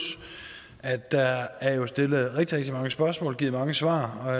at der er stillet rigtig rigtig mange spørgsmål og givet mange svar og